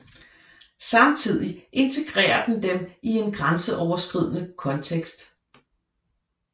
Samtidig integrerer den dem i en grænseoverskridende kontekst